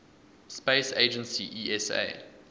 space agency esa